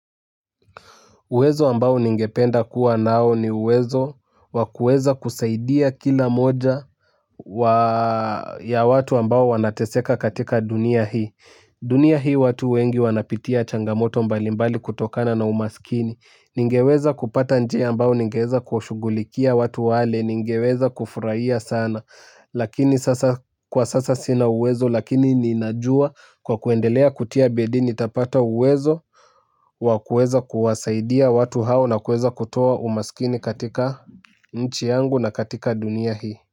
Uwezo ambao ningependa kuwa nao ni uwezo wa kuweza kusaidia kila moja ya watu ambao wanateseka katika dunia hii. Dunia hii watu wengi wanapitia changamoto mbalimbali kutokana na umasikini. Ningeweza kupata njia ambayo ningeeza kuwashughulikia watu wale ningeweza kufurahia sana. Lakini sasa kwa sasa sina uwezo lakini ninajua kwa kuendelea kutia bidii nitapata uwezo. Wa kuweza kuwasaidia watu hao na kueza kutoa umaskini katika nchi yangu na katika dunia hii.